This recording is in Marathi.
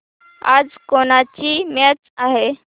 आज कोणाची मॅच आहे